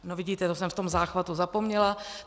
No vidíte, to jsem v tom záchvatu zapomněla.